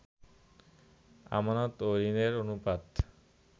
আমানত ও ঋণের অনুপাত